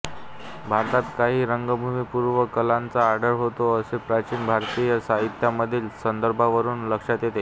भारतात काही रंगभूमीपूर्व कलांचा आढळ होता असे प्राचीन भारतीय साहित्यांमधील संदर्भांवरून लक्षात येते